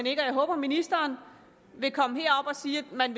ikke og jeg håber at ministeren vil komme herop og sige at man